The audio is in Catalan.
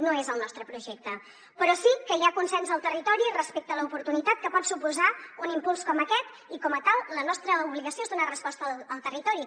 no és el nostre projecte però sí que hi ha consens al territori respecte a l’oportunitat que pot suposar un impuls com aquest i com a tal la nostra obligació és donar resposta al territori